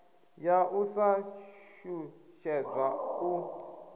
ya u sa shushedzwa u